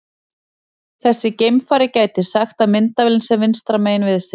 Þessi geimfari gæti sagt að myndavélin sé vinstra megin við sig.